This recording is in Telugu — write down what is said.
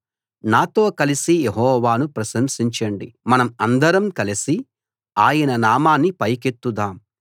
నాతో కలసి యెహోవాను ప్రశంసించండి మనం అందరం కలసి ఆయన నామాన్ని పైకెత్తుదాం